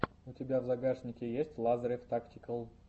у тебя в загашнике есть лазарев тактикал